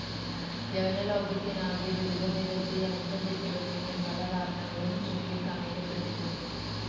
യവനലോകത്തിനാകെ ദുരിതം വിതച്ച ഈ അന്തഃഛിദ്രത്തിന് പല കാരണങ്ങളും ചുണ്ടിക്കാണിക്കപ്പെട്ടിട്ടുണ്ട്.